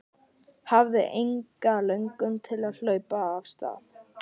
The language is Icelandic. Hafði enga löngun til að hlaupa af stað.